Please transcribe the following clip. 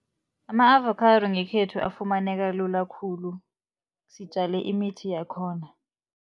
Ama-avocado ngekhethu afumaneka lula khulu, sitjale imithi yakhona.